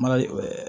Mara ye